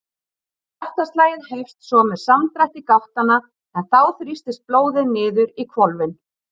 Hjartaslagið hefst svo með samdrætti gáttanna en þá þrýstist blóðið niður í hvolfin.